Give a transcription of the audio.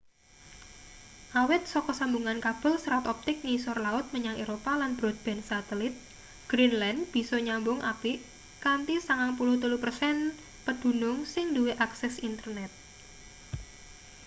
awit saka sambungan kabel serat optik ngisor laut menyang eropa lan broadband satelit greenland bisa nyambung apik kanthi 93% pedunung sing duwe akses internet